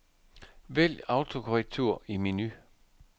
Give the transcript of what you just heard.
Vælg autokorrektur i menu.